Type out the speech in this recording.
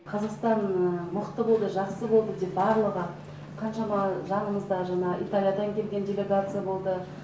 қазақстан мықты болды жақсы болды деп барлығы қаншама жанымызда жаңа италиядан келген делегация болды